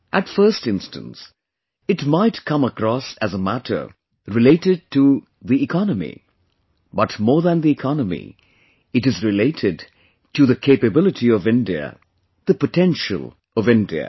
At first instance, it might come across as a matter related to the economy; but more than the economy, it is related to the capability of India, the potential of India